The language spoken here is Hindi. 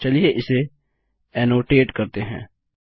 चलिए इसे ऐनोटेट करते हैं